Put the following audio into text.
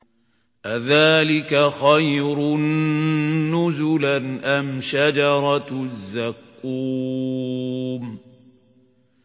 أَذَٰلِكَ خَيْرٌ نُّزُلًا أَمْ شَجَرَةُ الزَّقُّومِ